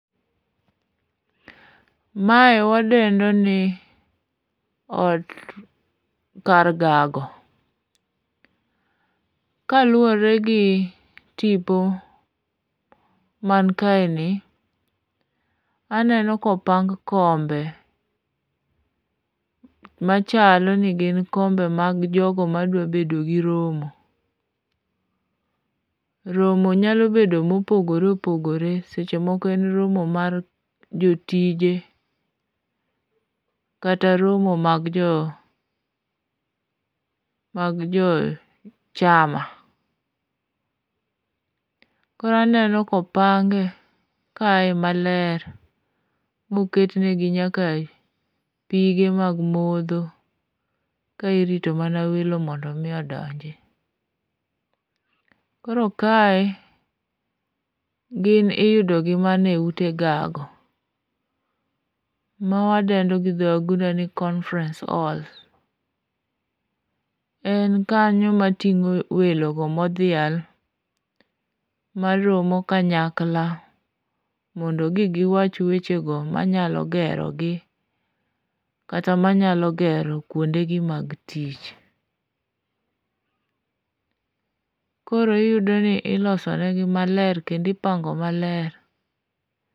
Mae wadendo ni ot, kar gago. Kaluwore gi tipo man kaeni, aneno kopang kombe machalo ni gin kombe mag jogo madwa bedo gi romo. Romo nyalo bedo mopogore opogore, seche moko en romo mar jotije, kata romo mag jo chama. Koro aneno kopang kae maler moket negi nyaka pige mag modho, ka irito mana welo mondo omi odonji. Koro kae gin iyudogi mana e ute gago, mawadendo gi dho wagunda ni conference hall. En kanyo mating'o welogo modhial maromo kanyakla, mondo gi giwach wechego mayalo gerogi kata manyalo gero kwondegi mag tich. Koro iyudoni ilosonegi maler kendo ipangonegi maler.